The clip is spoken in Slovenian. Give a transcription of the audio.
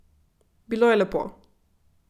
Bilo je lepo.